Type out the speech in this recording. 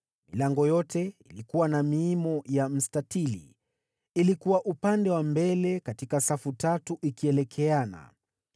Milango yote ilikuwa na miimo ya mstatili, ilikuwa upande wa mbele katika safu tatu, ikielekeana.